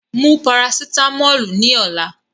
Take the paracetamol tomorrow